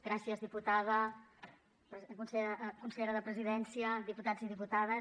gràcies diputada consellera de presidència diputats i diputades